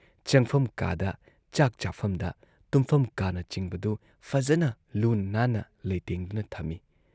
ꯆꯪꯐꯝ ꯀꯥꯗ, ꯆꯥꯛ ꯆꯥꯐꯝꯗ, ꯇꯨꯝꯐꯝ ꯀꯥꯅꯆꯤꯡꯕꯗꯨ ꯐꯖꯅ ꯂꯨꯅ ꯅꯥꯟꯅ ꯂꯩꯇꯦꯡꯗꯨꯅ ꯊꯝꯏ ꯫